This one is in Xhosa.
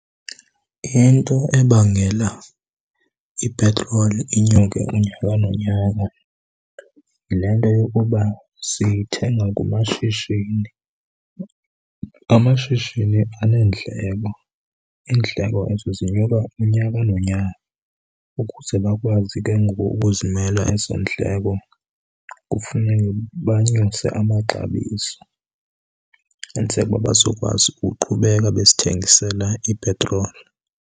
Into ebangela ipetroli inyuke unyaka nonyaka yile nto yokuba sithenga kumashishini. Amashishini aneendleko, iindleko ezo zinyuka unyaka nonyaka. Ukuze bakwazi ke ngoku ukuzimela ezo ndleko kufuneke banyuse amaxabiso kwenzela uba bazokwazi uqhubeka besithengisela ipetroli.